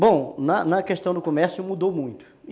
Bom, na na questão do comércio mudou muito.